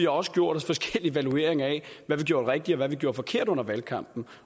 også gjort os forskellige evalueringer af hvad vi gjorde rigtigt og hvad vi gjorde forkert under valgkampen